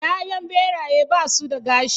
Ya'yan Ɓeraye basu da gashi